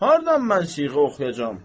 Hardan mən siğə oxuyacam?